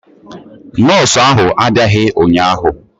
nọọsụ ahụ abiaghi ụnyahụ